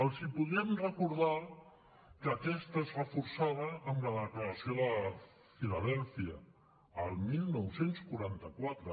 els podríem recordar que aquesta és reforçada amb la declaració de philadelphia el dinou quaranta quatre